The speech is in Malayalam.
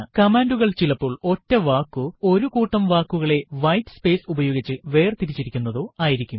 കമാൻഡുകൾ ചിലപ്പോൾ ഒറ്റ വാക്കോ ഒരു കൂട്ടം വാക്കുകളെ വൈറ്റ് സ്പേയ്സ് ഉപയോഗിച്ച് വേർതിരിച്ചിരിക്കുന്നതോ ആയിരിക്കും